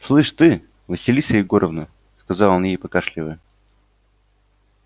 слышишь ты василиса егоровна сказал он ей покашливая